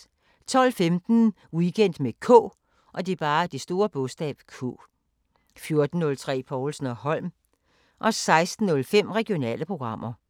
12:15: Weekend med K 14:03: Povlsen & Holm 16:05: Regionale programmer